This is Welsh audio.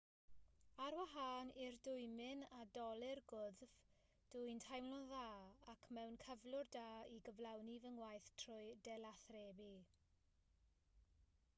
ar wahân i'r dwymyn a dolur gwddf dw i'n teimlo'n dda ac mewn cyflwr da i gyflawni fy ngwaith trwy delathrebu